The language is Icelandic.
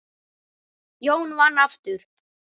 Jón vann aftur.